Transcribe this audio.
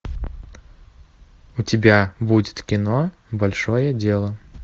у тебя будет кино большое дело